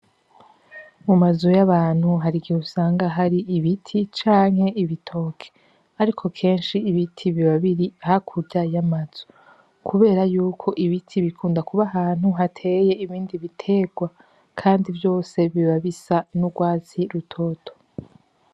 Mu mazu y’abantu hari igihe usanga hari ibiti canke ibitoke, ariko kenshi ibiti biba biri hakurya y’amazu kubera yuko ibiti bikunda kuba ahantu hateye ibindi biterwa kandi vyose biba bisa n’urwatsi rutoto.